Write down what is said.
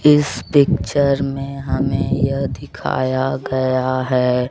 इस पिक्चर में हमें यह दिखाया गया है।